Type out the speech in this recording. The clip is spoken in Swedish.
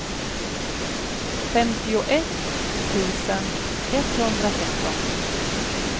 femtioett tusen etthundratretton